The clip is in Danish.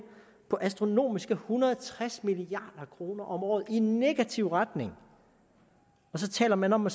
på astronomiske en hundrede og tres milliard kroner om året i negativ retning og så taler man om at